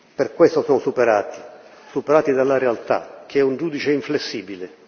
Per questo sono superati superati dalla realtà che è un giudice inflessibile.